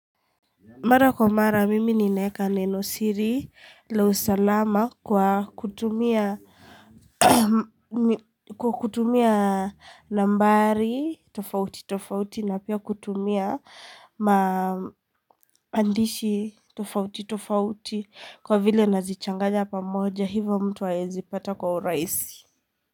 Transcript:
Mara kwa mara, mimi ninaeka neno siri la usalama kwa kutumia nambari, tofauti, tofauti, na pia kutumia maandishi tofauti, tofauti, kwa vile nazichanganya pamoja hivyo mtu haezi pata kwa urahisi.